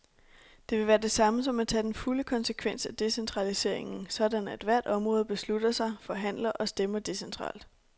Det vil være det samme som at tage den fulde konsekvens af decentraliseringen, sådan at hvert område beslutter sig, forhandler og stemmer decentralt.